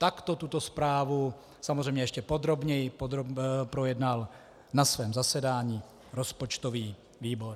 Takto tuto zprávu, samozřejmě ještě podrobněji, projednal na svém zasedání rozpočtový výbor.